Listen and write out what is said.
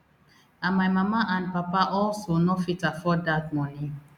and my mama and papa also no fit afford dat money